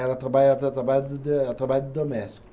Ela trabalhava da, trabalhava de de, ela trabalhava de doméstica.